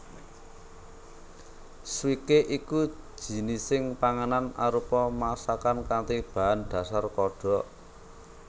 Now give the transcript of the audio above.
Swikee iku jinising panganan arupa masakan kanthi bahan dhasar kodhok